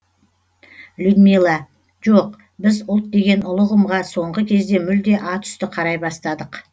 людмила жоқ біз ұлт деген ұлы ұғымға соңғы кезде мүлде ат үсті қарай бастадық